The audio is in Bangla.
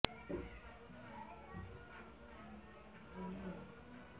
ওই সভা শেষে এক সংবাদ সম্মেলন করে দলটির সাধারণ সম্পাদক ড